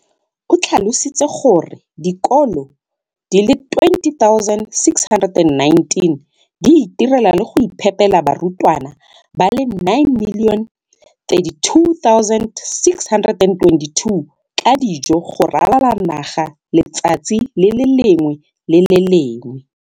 O tlhalositse gore dikolo di le 20 619 di itirela le go iphepela barutwana ba le 9 032 622 ka dijo go ralala naga letsatsi le lengwe le le lengwe.